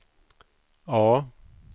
A